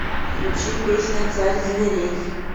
включи песня царь зверей